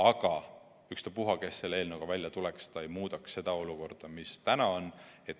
Aga ükspuha, kes selle eelnõuga välja tuleks, ta ei muudaks seda olukorda, mis täna on.